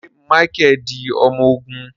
Ṣe Micheal di ọmọ ogun?